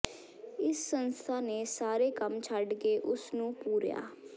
ਇਸ ਸੰਸਥਾ ਨੇ ਸਾਰੇ ਕੰਮ ਛੱਡ ਕੇ ਉਸ ਨੂੰ ਪੂਰਿਆਂ